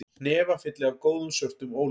Hnefafylli af góðum, svörtum ólífum